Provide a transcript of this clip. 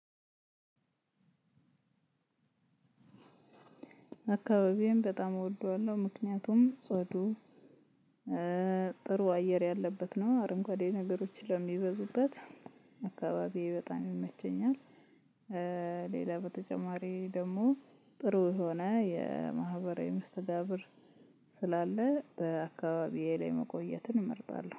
አካባቢዬን በጣም እወደዋለሁ ምክንያቱም ጽዱ ጥሩ አየር ያለበት ነው አረንጓዴ ነገሮች ስለሚበዙበት አካባቢዬ በጣም ይመቸኛል። ሌላ በተጨማሪ ደግሞ ጥሩ የሆነ የማህበራዊ መስተጋብር ስላለ በአካባቢዬ ላይ መቆየትን እመርጣለሁ